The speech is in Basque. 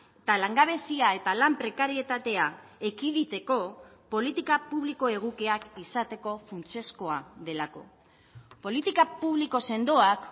eta langabezia eta lan prekarietatea ekiditeko politika publiko egokiak izateko funtsezkoa delako politika publiko sendoak